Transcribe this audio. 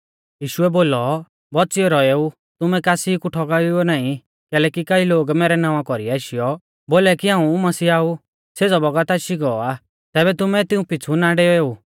यीशुऐ बोलौ बौच़ियौ रौएऊ तुमै कासी कु ठौगाइएऊ नाईं कैलैकि कई लोग मैरै नावां कौरीऐ आशीयौ बोलाई कि हाऊं मसीहा ऊ सेज़ौ बौगत आशी गौ आ तैबै तुमै तिऊं पिछ़ु ना डेवेऊ